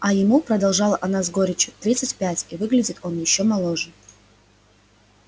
а ему продолжала она с горечью тридцать пять и выглядит он ещё моложе